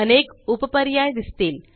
अनेक उप पर्याय दिसतील